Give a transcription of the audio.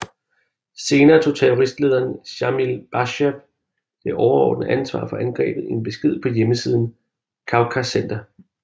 Senere tog terroristlederen Sjamil Basajev det overordnede ansvar for angrebet i en besked på hjemmesiden Kavkazcenter